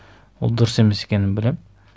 ол дұрыс емес екенін білемін